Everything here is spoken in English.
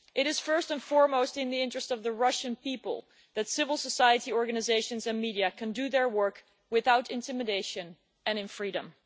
It is, first and foremost, in the interests of the Russian people that civil society organisations and media can do their work without intimidation and in freedom.